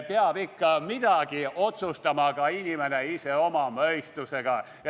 Peab ikka midagi otsustama ka inimene ise oma mõistusega.